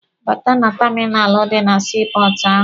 Bata na taminalụ dị na sii pọọtụ ahụ!